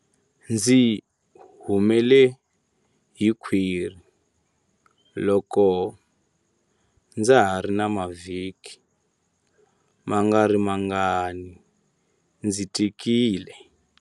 Ndzi humele hi khwiri loko ndza ha ri na mavhiki mangarimangani ndzi tikile.